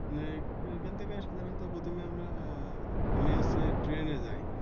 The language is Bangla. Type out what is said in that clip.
এখান থেকে সাধারণত প্রথমে আমরা আহ আমি যাচ্ছি ট্রেনে যাই।